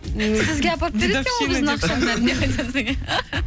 сізге апарып беретін екен ғой біздің ақшаның бәрін